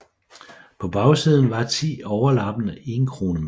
På bagsiden var ti overlappende enkronemønter